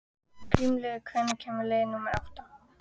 Grímheiður, hvenær kemur leið númer átta?